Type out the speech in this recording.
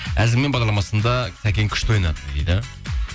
әзіл мэн бағдарламасында сәкең күшті ойнады дейді